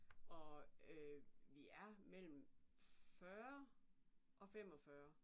Og vi er mellem 40 og 45